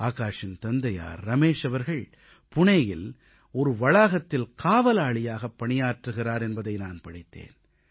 ஆகாஷின் தந்தையார் ரமேஷ் அவர்கள் புனேயில் ஒரு வளாகத்தில் காவலாளியாகப் பணியாற்றுகிறார் என்பதை நான் படித்தேன்